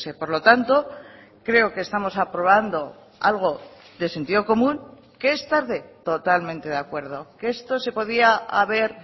por lo tanto creo que estamos aprobando algo de sentido común que es tarde totalmente de acuerdo que esto se podía haber